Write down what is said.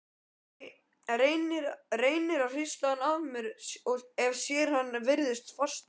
Reynir að hrista hann af sér en hann virðist fastur.